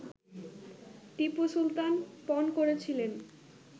টিপু সুলতান পণ করেছিলেন